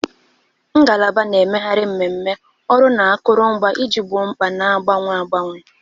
Ngalaba na-emegharị mmemme, ọrụ na akụrụngwa iji gboo mkpa na-agbanwe agbanwe.